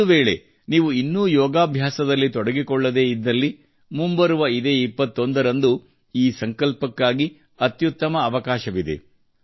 ಒಂದುವೇಳೆ ನೀವು ಇನ್ನೂ ಯೋಗಾಭ್ಯಾಸದಲ್ಲಿ ತೊಡಗಿಕೊಳ್ಳದೇ ಇದ್ದಲ್ಲಿ ಮುಂಬರುವ ಇದೇ 21 ರಂದು ಈ ಸಂಕಲ್ಪಕ್ಕಾಗಿ ಅತ್ಯುತ್ತಮ ಅವಕಾಶವಿದೆ